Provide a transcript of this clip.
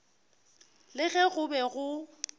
le ge go be go